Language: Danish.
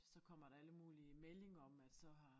Så kommer der alle mulige meldinger om at så har